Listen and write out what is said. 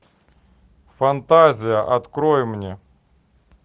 фантазия открой мне